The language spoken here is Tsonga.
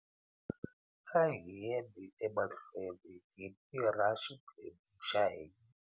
A hi yeni emahlweni hi tirha xiphemu xa hina.